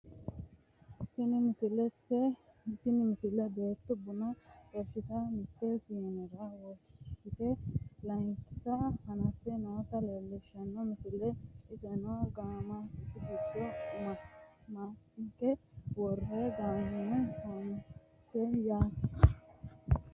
tini misile beetto buna xorshitanna mitte siinera wonshite layeenkita hanaffe noota leellishshanno misileeti iseno gamate giddo maanka worte gamate fanote yaate